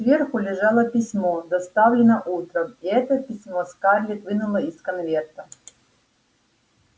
сверху лежало письмо доставленное утром и это письмо скарлетт вынула из конверта